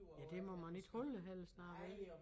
Ja der må man ikke holde helst nej vel